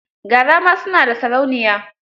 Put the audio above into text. Gara ma su na da sarauniya.